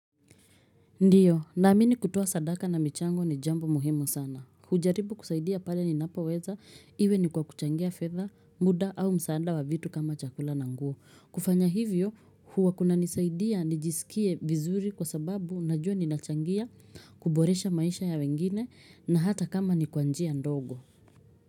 Ndio, naamini kutoa sadaka na michango ni jambo muhimu sana. Hujaribu kusaidia pale ninapoweza, iwe ni kwa kuchangia fedha, muda au msaada wa vitu kama chakula na nguo. Kufanya hivyo, huwa kuna nisaidia nijisikie vizuri kwa sababu najua ninachangia, kuboresha maisha ya wengine na hata kama ni kwa njia ndogo.